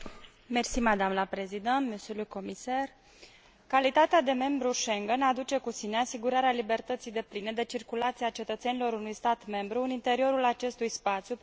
Calitatea de membru Schengen aduce cu sine asigurarea libertății depline de circulație a cetățenilor unui stat membru în interiorul acestui spațiu, prin eliminarea totală a frontierelor dintre statele membre.